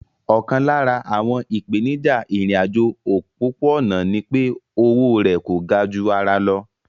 Ọ̀kan lára àwọn ìpèníjà ìrìn àjò òpópó-ọ̀nà ní pé o owó rẹ̀ kò ga ju ara lọ